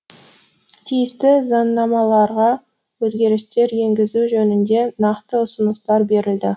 тиісті заңнамаларға өзгерістер енгізу жөнінде нақты ұсыныстар берілді